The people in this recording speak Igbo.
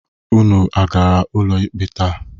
Unu agara ụlọ ikpe taa?